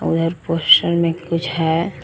उधर पोस्टर में कुछ है।